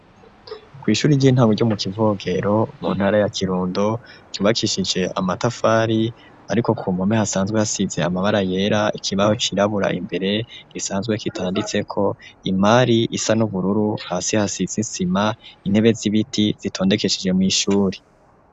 Kw'ishuri ry'intango ryo mu Kivogero mu ntara ya Kirundo , ryubakishije amatafari, ariko ku mpome hasanzwe hasize amabara yera. Ikibaho cirabura imbere gisanzwe kitanditseko. Imari isa n'ubururu hasi hasize isima, intebe z'ibiti zitondekesheje mw'ishuri.